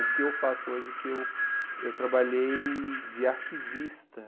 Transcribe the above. O que eu faço hoje é que eu eu trabalhei de arquivista.